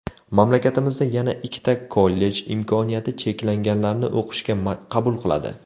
Mamlakatimizda yana ikkita kollej imkoniyati cheklanganlarni o‘qishga qabul qiladi.